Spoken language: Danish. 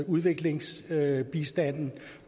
udviklingsbistanden